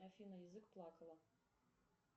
афина язык плакала